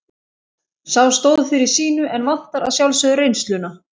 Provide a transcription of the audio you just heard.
Sá stóð fyrir sínu en vantar að sjálfsögðu reynsluna.